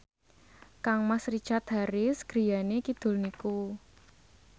kangmas Richard Harris griyane kidul niku